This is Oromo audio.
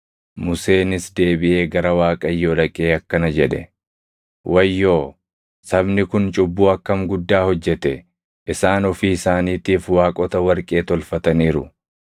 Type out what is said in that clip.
Museenis deebiʼee gara Waaqayyoo dhaqee akkana jedhe; “Wayyoo! Sabni kun cubbuu akkam guddaa hojjete! Isaan ofii isaaniitiif waaqota warqee tolfataniiru.